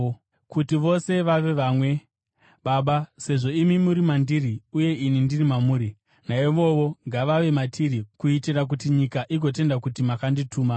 kuti vose vave vamwe, Baba, sezvo imi muri mandiri uye ini ndiri mamuri. Naivowo ngavave matiri kuitira kuti nyika igotenda kuti makandituma.